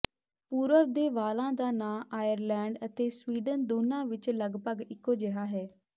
ਪੂਰਵ ਦੇ ਵਾਲਾਂ ਦਾ ਨਾਂ ਆਇਰਲੈਂਡ ਅਤੇ ਸਵੀਡਨ ਦੋਨਾਂ ਵਿੱਚ ਲਗਭਗ ਇੱਕੋ ਜਿਹਾ ਹੈ